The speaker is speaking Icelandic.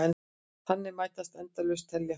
Þannig mætti endalaust telja.